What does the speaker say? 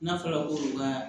N'a fɔra ko ka